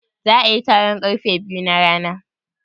Za'a yi taron karfe biyu na rana?